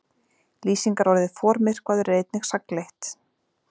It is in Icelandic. Lýsingarorðið formyrkvaður er einnig sagnleitt.